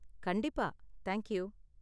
கண்டிப்பா, thank you.